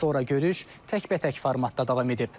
Sonra görüş təkbətək formatda davam edib.